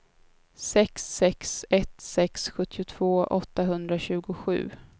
sex sex ett sex sjuttiotvå åttahundratjugosju